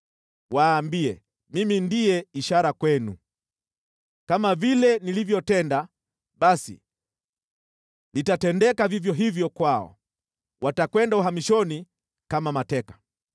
Waambie, ‘Mimi ndiye ishara kwenu.’ “Kama vile nilivyotenda, basi litatendeka vivyo hivyo kwao. Watakwenda uhamishoni kama mateka.